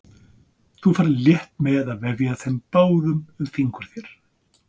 Þú ferð létt með að vefja þeim báðum um fingur þér.